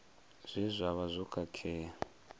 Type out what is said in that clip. zwe zwa vha zwo khakhea